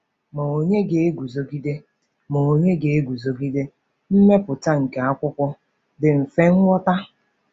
Ma ònye ga-eguzogide Ma ònye ga-eguzogide mmepụta nke akwụkwọ dị mfe nghọta?